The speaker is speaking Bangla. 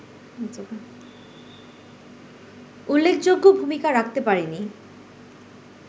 উল্লেখযোগ্য ভূমিকা রাখতে পারেনি